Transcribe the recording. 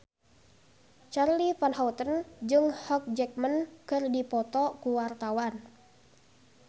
Charly Van Houten jeung Hugh Jackman keur dipoto ku wartawan